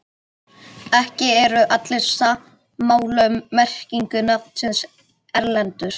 Ekki eru allir sammála um merkingu nafnsins Erlendur.